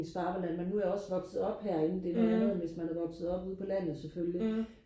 hvis far var landmand men nu er jeg også vokset op herinde det er noget andet hvis man er vokset op ude på landet selvfølgelig